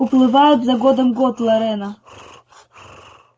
уплывает за годом год лорена